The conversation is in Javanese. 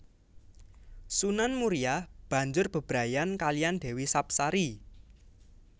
Sunan Muria banjur bebrayan kaliyan Dewi Sapsari